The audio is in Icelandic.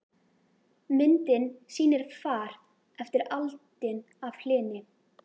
Myndin sýnir far eftir aldin af hlyni.